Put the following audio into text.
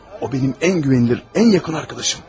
O, mənim ən etibarlı, ən yaxın dostumdur.